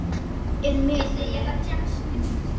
Er með henni.